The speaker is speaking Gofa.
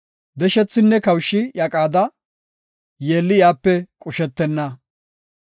Deshethinne kawushi iya qaada; yeelli iyape qushetenna.